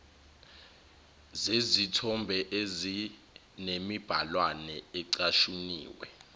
zezithombe ezinemibhalwana ecashuniwe